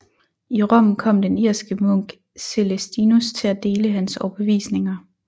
I Rom kom den irske munk Celestinus til at dele hans overbevisninger